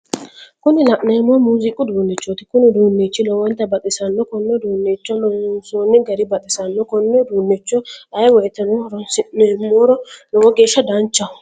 Kuni la'neemmohu muuziqu uduunnichooti Kuni uduunnichi lowontta baxxissanno konne uduunnicho loonsonni gari baxissanno konne uduunnicho ayi woyiteno horonsi'nummoro lowo geesha danchaho